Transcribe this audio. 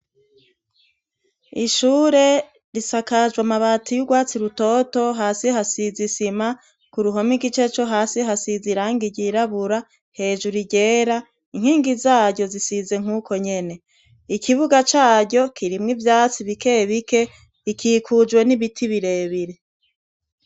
Ishure risakajwe amabati y'urwatsi rutoto, hasi hasiz'isima, ku ruhome igice co hasi hasiz' irangi ryirabura, hejuru iryera, inkingi zaryo zisize nk'uko nyene. Ikibuga caryo kirimwo ivyatsi bike bike rikikujwe n'ibiti birebire.